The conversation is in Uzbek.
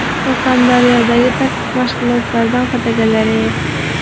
Surxondaryodagi taktik mashg‘ulotdan fotogalereya.